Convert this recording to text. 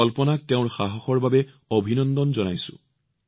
মই কল্পনাক তেওঁৰ সাহসৰ বাবে অভিনন্দন জনাইছো